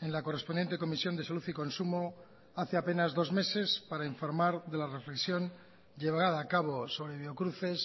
en la correspondiente comisión de salud y consumo hace apenas dos meses para informar de la reflexión llevada a cabo sobre biocruces